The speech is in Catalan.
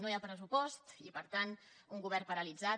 no hi ha pressupost i per tant un govern paralitzat